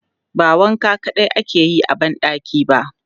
Ba wanka kaɗai ake yi a ban ɗaki ba.